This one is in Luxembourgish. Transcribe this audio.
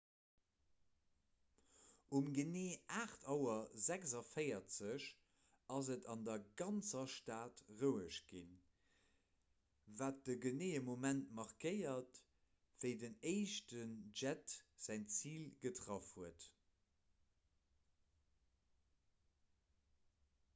um genee 8.46 auer ass et an der ganzer stad roueg ginn wat de geneeë moment markéiert wéi den éischten jett säin zil getraff huet